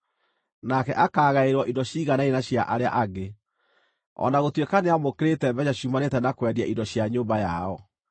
Nake akaagaĩrwo indo ciiganaine na cia arĩa angĩ, o na gũtuĩka nĩamũkĩrĩte mbeeca ciumanĩte na kwendia indo cia nyũmba yao.